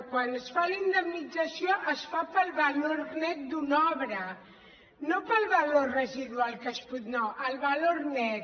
quan es fa la indemnització es fa pel valor net d’una obra no pel valor residual no el valor net